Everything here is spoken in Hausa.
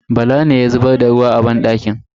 Bala ne ya zubar da ruwa a banɗakin.